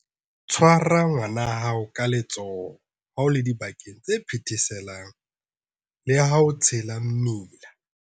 Tshwara ngwana wa hao ka letsoho ha o le dibakeng tse phetheselang le ha o tshela mmila.